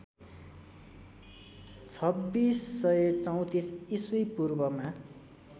२६३४ ईस्वी पूर्वमा